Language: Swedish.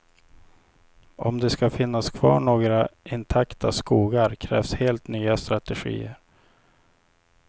Om det ska finnas kvar några intakta skogar krävs helt nya strategier.